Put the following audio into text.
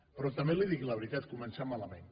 però també li dic la veritat comencem malament